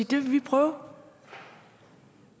det vil de prøve